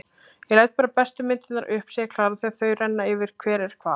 Ég læt bara bestu myndirnar upp, segir Klara þegar þau renna yfir hver er hvað.